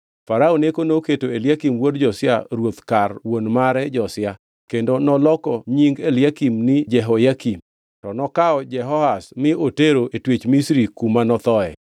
Farao Neko noketo Eliakim wuod Josia ruoth kar wuon mare Josia kendo noloko nying Eliakim ni Jehoyakim. To nokawo Jehoahaz mi otero e twech Misri kuma nothoe.